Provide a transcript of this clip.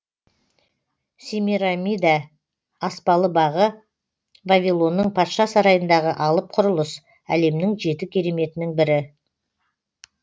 семирамида аспалы бағы вавилонның патша сарайындағы алып құрылыс әлемнің жеті кереметінің бірі